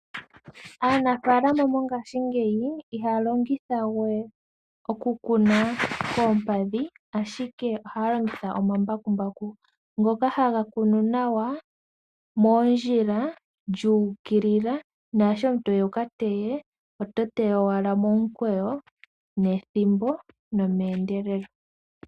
Aanafaalama mongaashingeyi ihaya longitha we oku kuna koompadhi ashike ohaya longitha omambakumbaku, ngoka haga kunu nawa moondjila, lyu ukilila naasho omuntu toya wuka teye, oto teya owala momukweyo nethimbo nomeendelelo.